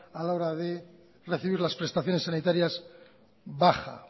a la hora de recibir las prestaciones sanitarias baja